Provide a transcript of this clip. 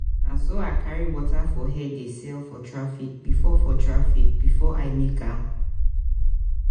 na so i dey carry water for head dey sell for traffic before for traffic before i make am.